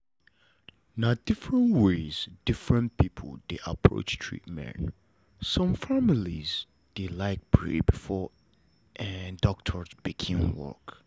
na different ways different people dey approach treatment some family dey like pray before doctors begin work